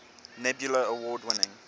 nebula award winning